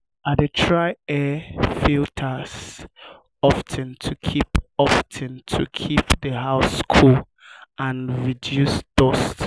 i dey change air filters of ten to keep of ten to keep the house cool and reduce dust.